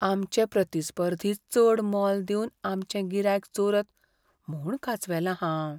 आमचे प्रतिस्पर्धी चड मोल दिवन आमचें गिरायक चोरत म्हूण कांचवेलां हांव.